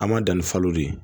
An ma dan ni falo de ye